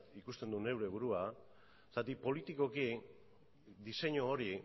ikusten dut neure burua zergatik politikoki diseinu hori